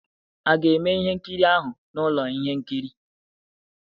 A ga-eme ihe nkiri ahụ na ụlọ ihe nkiri?